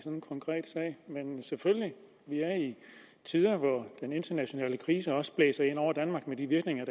en konkret sag men vi har selvfølgelig tider hvor den internationale krise også blæser ind over danmark med de virkninger